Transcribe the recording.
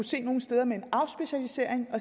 se nogle steder med en afspecialisering